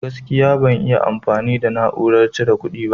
Gaskiya, ban iya amfani da na'urar cire ƙudi ba.